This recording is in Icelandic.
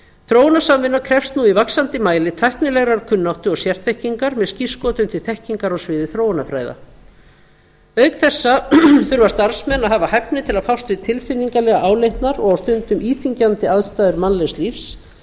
þróunarsamvinna krefst nú í vaxandi mæli tæknilegrar kunnáttu og sérþekkingar með skírskotun til þekkingar á sviði þróunarfræða auk þessa þurfa starfsmenn að hafa hæfni til að fást við tilfinningalega áleitnar og á stundum íþyngjandi aðstæður mannlegs lífs